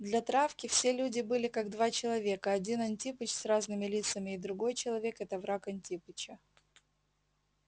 для травки все люди были как два человека один антипыч с разными лицами и другой человек это враг антипыча